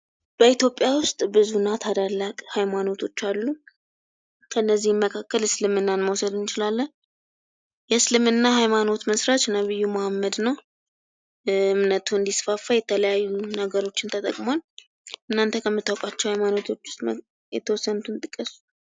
በኢትዮጵያ ውስጥ ብዙና ታላላቅ ሀይማኖቶች አሉ። ከእነዚህም መካከል እስልምናን መውሰድ እንችላለን። የእስልምና ሃይማኖት መስራች ነብዩ መሃመድ ነው። እምነቱ እንዲስፋፋ የተለያዩ ነገሮችን ተጠቅሟል። እናንተ ከምታውቋቸው ሀይማኖቶች ውስጥ የተወሰኑትን ጥቀሱ።